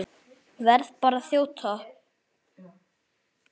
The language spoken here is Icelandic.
Verð bara að þjóta!